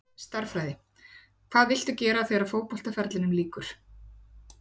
Stærðfræði Hvað viltu gera þegar að fótboltaferlinum lýkur?